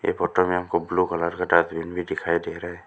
ये फोटो मे हमको ब्लू कलर का डस्टबिन भी दिखाई दे रहा है।